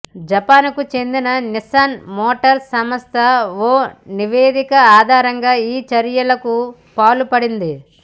జపాన్కు చెందిన Nissan motor సంస్థ ఓ నివేదిక ఆధారంగా ఈ చర్యలకు పాల్పడింది